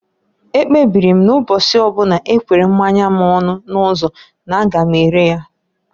Ekpebiri m na mbọsi ọbụna ekwere mmanya m ọnụ n'ụzọ n'a ga m ere ya.